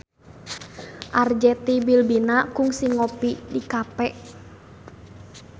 Arzetti Bilbina kungsi ngopi di cafe